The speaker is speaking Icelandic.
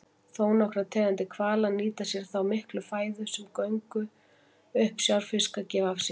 Þónokkrar tegundir hvala nýta sér þá miklu fæðu sem göngur uppsjávarfiska gefa af sér.